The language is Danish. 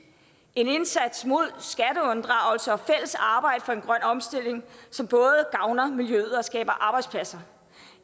en indsats mod skatteunddragelse og fælles arbejde for en grøn omstilling som både gavner miljøet og skaber arbejdspladser